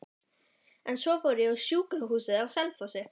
En svo fór ég á sjúkrahúsið á Selfossi.